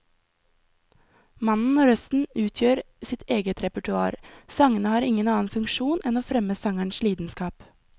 Mannen og røsten utgjør sitt eget repertoar, sangene har ingen annen funksjon enn å fremme sangerens lidenskap.